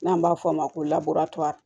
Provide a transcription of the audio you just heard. N'an b'a f'o ma ko